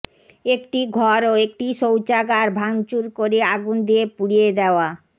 একটি ঘর ও একটি শৌচাগার ভাঙচুর করে আগুন দিয়ে পুড়িয়ে দেওয়া